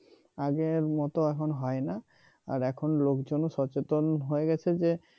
আগের মতো এখন হয় না আর এখন লোকজনও সচেতন হয়ে গেছে যে